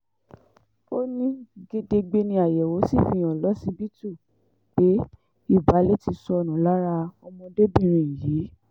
ó ní gedegbe ni àyẹ̀wò sì fi hàn lọ́sibítù pé ìbàlẹ̀ ti sọnù lára ọmọdébìnrin yìí